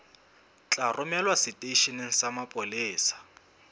tla romelwa seteisheneng sa mapolesa